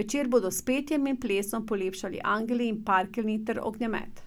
večer bodo s petjem in plesom polepšali angeli in parkeljni ter ognjemet.